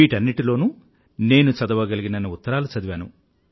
వీటన్నింటిలోనూ నేను చదవగలిగినన్ని ఉత్తరాలు చదివాను